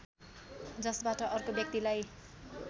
जसबाट अर्को व्यक्तिलाई